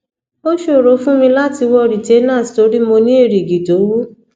ó ṣòro fún mi láti wọ retainers tori mo ni erigi to wu